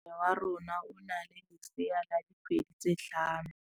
Moagisane wa rona o na le lesea la dikgwedi tse tlhano.